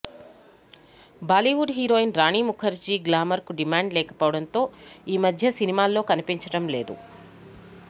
Bollywood heroine Rani Mukherjee గ్లామర్కు demand లేకపోవడంతో ఈ మధ్య సినిమాల్లో కనిపించడం లేదు